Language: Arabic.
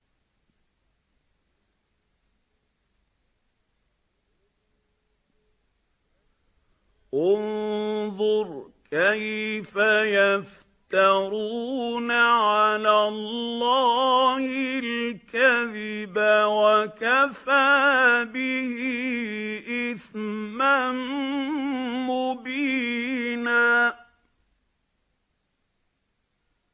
انظُرْ كَيْفَ يَفْتَرُونَ عَلَى اللَّهِ الْكَذِبَ ۖ وَكَفَىٰ بِهِ إِثْمًا مُّبِينًا